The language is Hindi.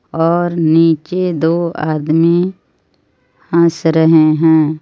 और निचे दो आदमी हस रहे हैं.